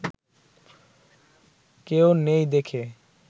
কেউ নেই দেখে